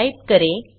type करें